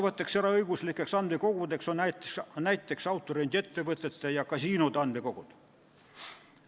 Sellised eraõiguslikud andmekogud on näiteks autorendiettevõtete ja kasiinode andmekogud.